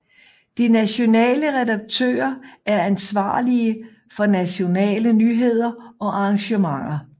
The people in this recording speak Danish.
De nationale redaktører er ansvarlige for nationale nyheder og arrangementer